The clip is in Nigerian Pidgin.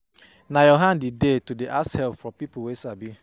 Na your hand e dey to dey ask help from pipo wey sabi.